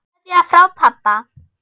Kveðja frá pabba.